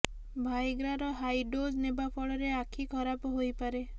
ଭାଏଗ୍ରାର high dose ନେବା ଫଳରେ ଆଖି ଖରାପ ହୋଇପାରେ